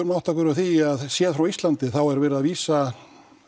að átta okkur á því að séð frá Íslandi er verið að vísa